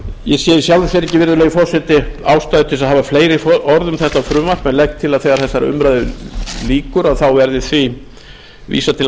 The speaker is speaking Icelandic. ég sé í sjálfu sér ekki virðulegi forseti ástæðu til að hafa fleiri orð um frumvarpið en legg til að þegar þessari umræðu lýkur verði því vísað til